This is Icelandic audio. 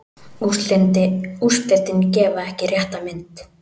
Úrslitin gefa ekki rétta mynd.